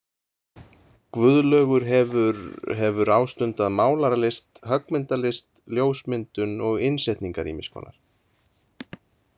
Guðlaugur hefur hefur ástundað málaralist, höggmyndalist, ljósmyndun og innsetningar ýmiskonar.